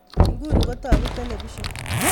Iguni kotoku telepision